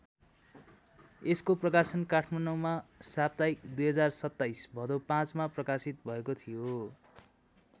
यसको प्रकाशन काठमाडौँमा साप्ताहिक २०२७ भदौ ५ मा प्रकाशित भएको थियो।